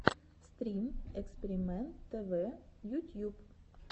стрим экспиримэнт тв ютьюб